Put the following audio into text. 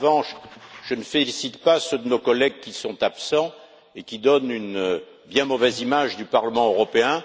En revanche, je ne félicite pas ceux de nos collègues qui sont absents et donnent une bien mauvaise image du Parlement européen.